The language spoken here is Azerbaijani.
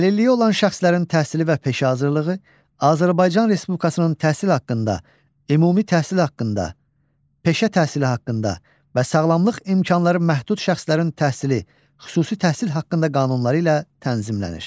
Əlilliyi olan şəxslərin təhsili və peşə hazırlığı Azərbaycan Respublikasının təhsil haqqında, ümumi təhsil haqqında, peşə təhsili haqqında və sağlamlıq imkanları məhdud şəxslərin təhsili, xüsusi təhsil haqqında qanunları ilə tənzimlənir.